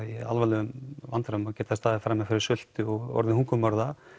í alvarlegum vandræðum geta staðið frammi fyrir sulti og orðið hungurmorða